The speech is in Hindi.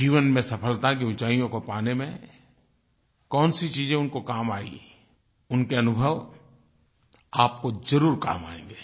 जीवन में सफलता की ऊँचाइयों को पाने में कौनसी चीज़ें उनको काम आईं उनके अनुभव आपको ज़रूर काम आएँगे